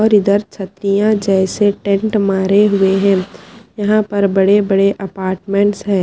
और इधर छत्रिय जेसे टेंट मारे हुए है यहा पर बड़े बड़े अपार्टमेंट्स है।